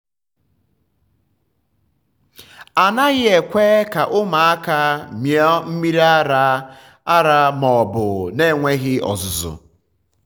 a naghị ekwe um ka um ụmụaka mịọ mmiri ara um ara um ma obu na-enweghị ọzụzụ.